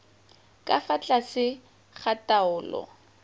ka fa tlase ga taolo